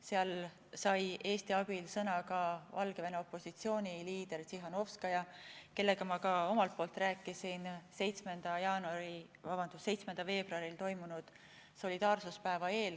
Seal sai Eesti abil sõna ka Valgevene opositsiooni liider Tsihhanovskaja, kellega ma ka ise rääkisin 7. veebruaril toimunud solidaarsuspäeva eel.